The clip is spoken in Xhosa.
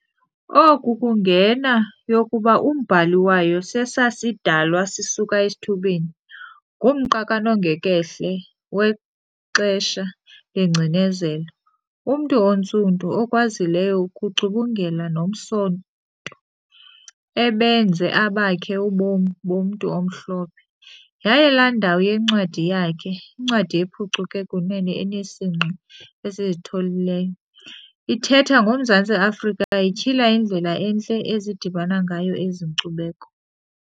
Oku kungena yokuba umbhali wayo sesasidalwa sisuka esithubeni, ngumnqa kanongekhehle wexesha lengcinezelo, ungumntu oNtsundu ukwazileyo ukucubungela nomsonto ebenze obakhe ubomi bomntu omhlophe, yaye la ndawo yencwadi yakhe, incwadi ephucuke kunene enesingqi esizitholileyo, ithetha ngoMzantsi Afrika ityhila indlela entle ezidibana ngayo ezi nckubeko.